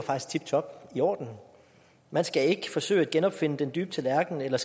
tiptop i orden man skal ikke forsøge at genopfinde den dybe tallerken eller